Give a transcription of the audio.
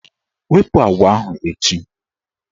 Wepu agwa ahụ echi!